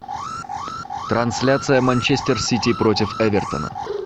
трансляция манчестер сити против эвертона